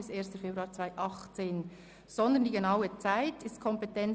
Das Büro hat die Kompetenz, den genauen Zeitraum zu bestimmen.